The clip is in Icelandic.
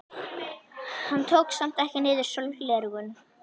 Hann tók samt ekki niður sólgleraugun.